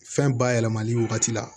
Fɛn bayɛlɛmali wagati la